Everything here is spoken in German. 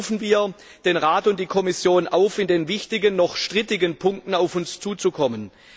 Deshalb rufen wir den Rat und die Kommission auf, in den wichtigen noch strittigen Punkten auf uns zuzukommen.